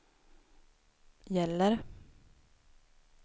gäller